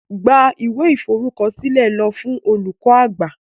Gbeb iwe iforukọsilẹ lo fun olukọ-agbạ!